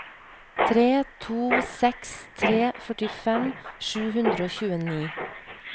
tre to seks tre førtifem sju hundre og tjueni